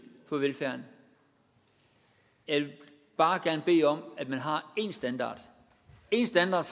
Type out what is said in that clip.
for velfærden jeg vil bare gerne bede om at man har én standard én standard